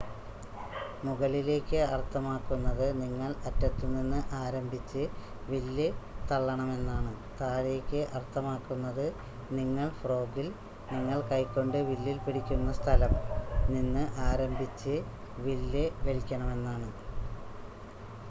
മുകളിലേക്ക് അർത്ഥമാക്കുന്നത് നിങ്ങൾ അറ്റത്തുനിന്ന് ആരംഭിച്ച് വില്ല് തള്ളണമെന്നാണ് താഴേക്ക് അർത്ഥമാക്കുന്നത് നിങ്ങൾ ഫ്രോഗിൽ നിങ്ങൾ കൈകൊണ്ട് വില്ലിൽ പിടിക്കുന്ന സ്ഥലം നിന്ന് ആരംഭിച്ച് വില്ല് വലിക്കണമെന്നാണ്